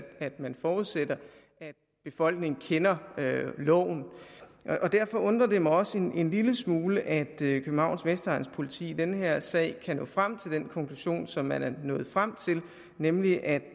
man forudsætter at befolkningen kender loven derfor undrer det mig også en lille smule at københavns vestegns politi i den her sag kan nå frem til den konklusion som man er nået frem til nemlig at